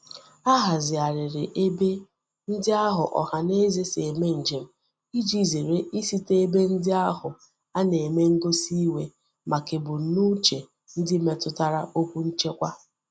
A hazighariri ebe ndi ahu ohaneze si eme njem, Iji zere isite ebe ndi ahu a na-eme ngosi iwe maka ebumnuche ndi metutara okwu nchekwa.